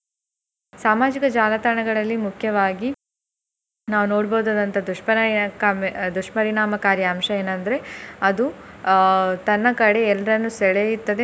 ಸಾಮಾಜಿಕ ಜಾಲತಾಣಗಳಲ್ಲಿ ಮುಖ್ಯವಾಗಿ ನಾವು ನೋಡ್ಬಹುದಾದಂತಹ ದುಷ್ಪರಿಣಾಮಕ~ ದುಷ್ಪರಿನಾಮಕಾರಿ ಅಂಶ ಏನಂದ್ರೆ ಅದು ಅಹ್ ತನ್ನ ಕಡೆ ಎಲ್ರನ್ನ ಸೆಳೆಯುತ್ತದೆ.